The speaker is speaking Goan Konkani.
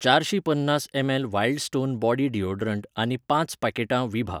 चारशीं पन्नास ML Wild Stone body deodorant आनी पांच पॅकिटां विभा